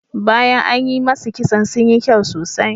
Bayan an yi masu kitson sun yi kyau sosai.